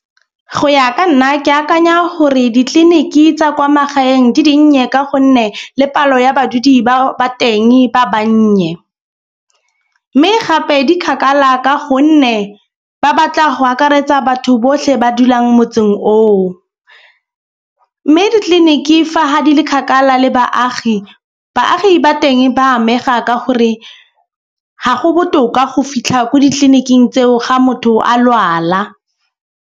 Go ya ka nna ke akanya gore ditleliniki tsa kwa magaeng di dinnye. Ka gonne le palo ya badudi ba teng ba bannye. Mme gape di kgakala ka gonne ba batla go akaretsa batho botlhe ba dulang motseng oo. Mme ditleliniki fa ha di le kgakala le baagi, baagi ba teng ba amega ka gore ga go botoka go fitlha ko ditleliniking tseo ga motho a lwala.